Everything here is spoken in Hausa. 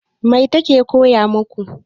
Mai ta ke koya maku?